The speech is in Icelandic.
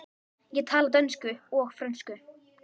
Ég tala dönsku og frönsku.